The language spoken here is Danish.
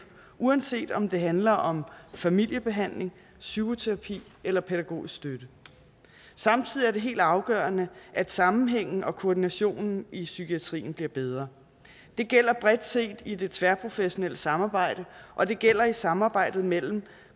uanset om det handler om familiebehandling psykoterapi eller pædagogisk støtte samtidig er det helt afgørende at sammenhængen og koordinationen i psykiatrien bliver bedre det gælder bredt set i det tværprofessionelle samarbejde og det gælder i samarbejdet mellem